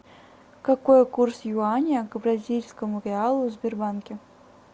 какой курс юаня к бразильскому реалу в сбербанке